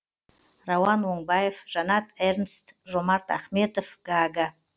рауан оңбаев жанат эрнст жомарт ахметов гага